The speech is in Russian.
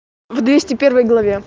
в двести первой главе